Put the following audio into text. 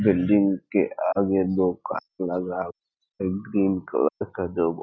building के आगे दो कार लगा एक ग्रीन कलर का दो गो --